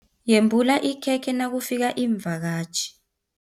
Yembula ikhekhe nakufika iimvakatjhi.